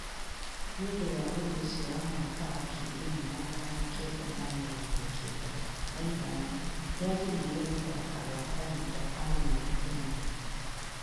Nĩ ũndũ wa ũndũ ũcio wa mwaka wa ngiri ĩmwe na magana kenda ma mĩrongo kenda na ithano nĩ agiririo gũthaki gwa kahinda ka mĩeri ĩnana.